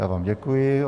Já vám děkuji.